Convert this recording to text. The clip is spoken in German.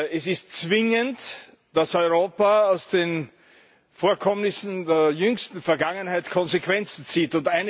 Es ist zwingend, dass Europa aus den Vorkommnissen der jüngsten Vergangenheit Konsequenzen zieht.